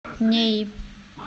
неи